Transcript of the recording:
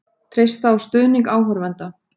Treysta á stuðning áhorfenda